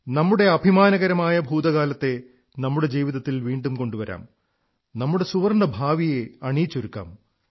നമ്മുടെ അഭിമാനകരമായ ഭൂതകാലത്തെ നമ്മുടെ ജീവിതത്തിൽ വീണ്ടും കൊണ്ടുവരാം നമ്മുടെ സുവർണ്ണഭാവിയെ അണിയിച്ചൊരുക്കാം